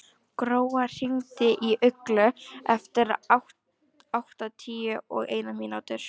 Gróa, hringdu í Uglu eftir áttatíu og eina mínútur.